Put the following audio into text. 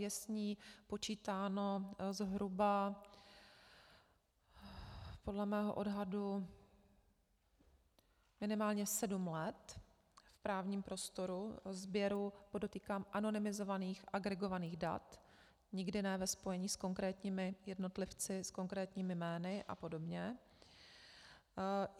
Je s ní počítáno zhruba podle mého odhadu minimálně sedm let v právním prostoru sběru, podotýkám, anonymizovaných, agregovaných dat, nikdy ne ve spojení s konkrétními jednotlivci, s konkrétními jmény a podobně.